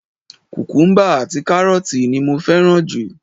Kukumuba àti karooti ni mo fẹ́ràn jù.